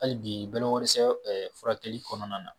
Hali bi bolakoidɛsɛ furakɛli kɔnɔna na